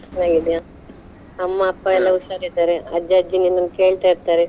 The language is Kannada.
ಚೆನ್ನಾಗಿದ್ಯಾ, ಅಮ್ಮ ಅಪ್ಪ ಹುಷಾರ್ ಇದ್ದಾರೆ ಅಜ್ಜಾ ಅಜ್ಜಿ ನಿನ್ನನ್ ಕೇಳ್ತಾ ಇರ್ತಾರೆ.